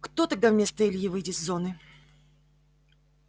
кто тогда вместо ильи выйдет с зоны